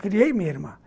Criei minha irmã.